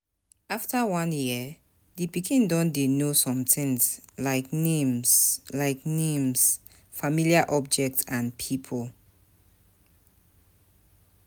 After one year, di pikin don dey know somethings like names like names familiar object and pipo